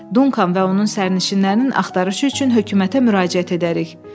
Dunkan və onun sərnişinlərinin axtarışı üçün hökumətə müraciət edərik.